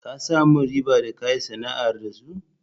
Ka samu riba da ka yi sana'ar da su?